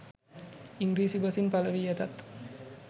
ඉංග්‍රීසි බසින් පළවී ඇතත්